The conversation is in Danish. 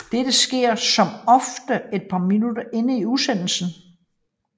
Dette sker som oftest et par minutter inde i udsendelsen